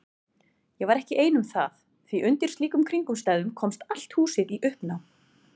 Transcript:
Ég var ekki ein um það því undir slíkum kringumstæðum komst allt húsið í uppnám.